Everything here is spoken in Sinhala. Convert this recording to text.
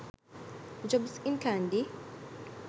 jobs in kandy